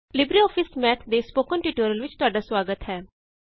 LibreOffice Math ਦੇ spoken tutorial ਵਿੱਚ ਤੁਹਾਡਾ ਸੁਆਗਤ ਹੈ